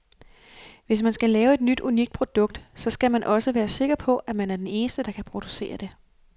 Hvis man skal lave et nyt unikt produkt, så skal man også være sikker på, at man er den eneste, der kan producere det.